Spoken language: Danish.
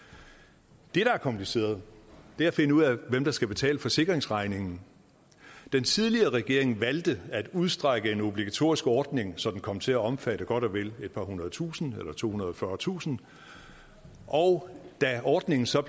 det der er kompliceret er at finde ud af hvem der skal betale forsikringsregningen den tidligere regering valgte at udstrække en obligatorisk ordning så den kom til at omfatte godt og vel et par hundredetusinde eller tohundrede og fyrretusind og da ordningen så